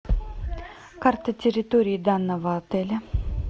карта территории данного отеля